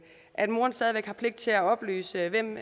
at moderen stadig væk har pligt til at oplyse hvem